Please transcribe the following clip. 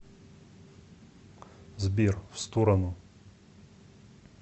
сбер в сторону